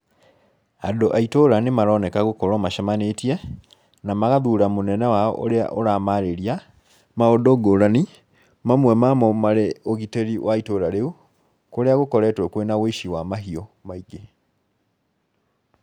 Andũ a itũra nĩ maroneka gũkorwo macemanĩtie, na magathura mũnene wao ũrĩa ũramaarĩria, maũndũ ngũrani, mamwe mamo marĩ ũgitĩri wa itũra rĩu, kũrĩa gũkoretwo kwĩna ũici wa mahiũ maingĩ.